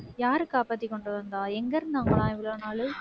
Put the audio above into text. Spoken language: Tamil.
யாரு காப்பாத்தி கொண்டு வந்தா எங்க இருந்தாங்களாம் இவ்வளவு நாளு?